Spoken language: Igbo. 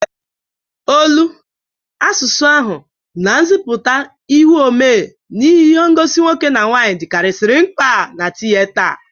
Olu, asụsụ ahụ na nzịpụta ihu omee ihi ngosi nwoke na nwaanyị dịkarịsị mkpa na tiyeta.